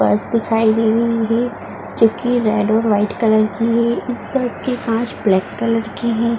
बस दिखाई दे रही है जोकि रेड और व्हाइट कलर की है। इस बस कांच ब्लैक कलर की हैं।